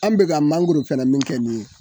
An bɛka ka mankoro sɛnɛ min kɛ nin ye.